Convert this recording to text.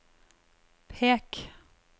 pek